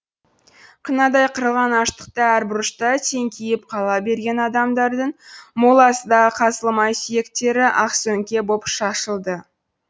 қынадай қырылған аштықта әр бұрышта теңкиіп қала берген адамдардың моласы да қазылмай сүйектері ақсөңке боп шашылды